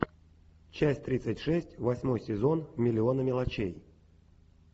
часть тридцать шесть восьмой сезон миллионы мелочей